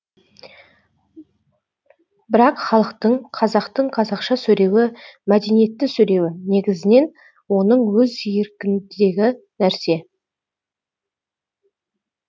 бірақ халықтың қазақтың қазақша сөйлеуі мәдениетті сөйлеуі негізінен оның өз еркіндегі нәрсе